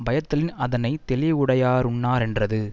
பயத்தலின் அதனை தெளிவுடையாருண்ணாரென்றது